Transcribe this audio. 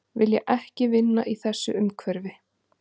Vilja ekki vinna í þessu umhverfi